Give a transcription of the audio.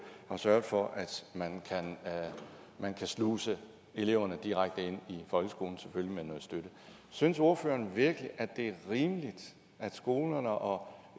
har sørget for at man kan sluse eleverne direkte ind i folkeskolen selvfølgelig med noget støtte synes ordføreren virkelig at det er rimeligt at skolerne og